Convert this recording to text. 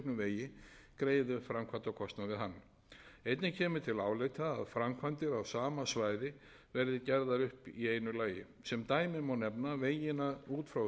við hann einnig kemur til álita að framkvæmdir á sama svæði verði gerðar upp í einu lagi sem dæmi má nefna vegina út frá höfuðborgarsvæðinu suðurlandsveg vesturlandsveg og reykjanesbraut